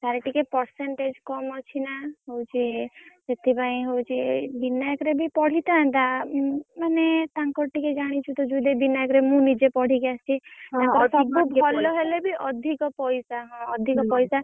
ତାର ଟିକେ percentage କମ୍ ଅଛି ନା ହଉଛି ସେଥିପାଇଁ ହଉଛି ବିନାୟକରେ ବି ପଢିଥାନ୍ତା ଉଁ ମାନେ ତାଙ୍କର ଟିକେ ଜାଣିଛୁ ଜୁଇ ଦେଇ ବିନାୟକ୍ ରେ ମୁଁ ନିଜେ ପଢିକି ଆସିଛି ଭଲ ହେଲେ ବି ଅଧିକ ପିଇସା ହଁ ଅଧିକ ପଇସା